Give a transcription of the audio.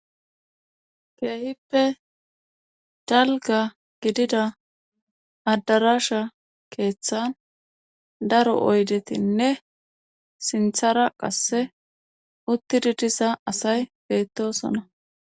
Keehippe dalga gidida adarasha keeththan daro oydetinne sinthara qasse uttidi disa asay beettosona